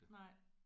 Nej